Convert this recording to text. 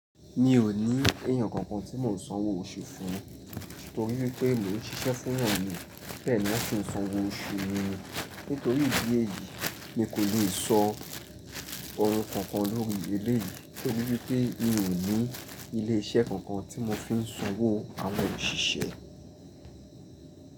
Mi ò ní èèyàn kankan tí mò ń sanwó oṣù fún, torí pé mo ń ṣiṣẹ́ fún èèyàn ni pẹ̀lú kí n sanwó oṣù mi. Nítorí ìdí èyí, mi kò le sọ ọ̀rọ̀ kankan lórí eléyìí torí pé mi ò ní ilé iṣẹ́ kankan tí mò fi ń sanwó àwọn òṣìṣẹ́.